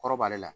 Kɔrɔ b'ale la